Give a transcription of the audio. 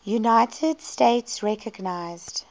united states recognized